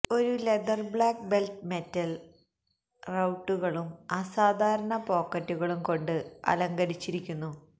ഒരു leather black belt metal റവ്ട്ടുകളും അസാധാരണ പോക്കറ്റുകളും കൊണ്ട് അലങ്കരിച്ചിരിക്കുന്നു